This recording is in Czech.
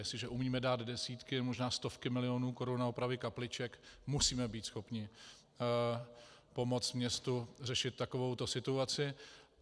Jestliže umíme dát desítky, možná stovky milionů korun na opravy kapliček, musíme být schopni pomoct městu řešit takovouto situaci.